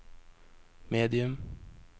medium